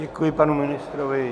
Děkuji panu ministrovi.